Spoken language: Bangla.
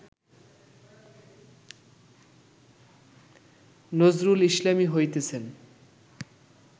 নজরুল ইসলামই হইতেছেন